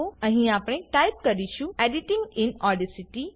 અહીં આપણે ટાઈપ કરીશું એડિટિંગ ઇન ઓડાસિટી